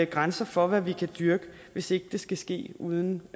grænser for hvad vi kan dyrke hvis det skal ske uden